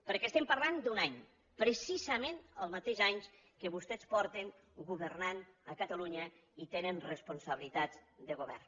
perquè estem parlant d’un any precisament el mateix any que vostès fa que governen a catalunya i tenen responsabilitats de govern